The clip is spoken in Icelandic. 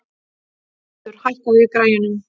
Smiður, hækkaðu í græjunum.